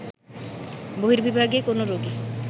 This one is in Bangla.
বহির্বিভাগে কোনো রোগী